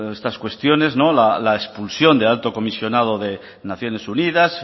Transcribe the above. estas cuestiones la expulsión del alto comisionado de naciones unidas